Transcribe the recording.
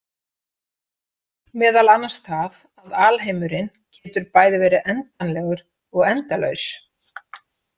Meðal annars það að alheimurinn getur bæði verið endanlegur og endalaus.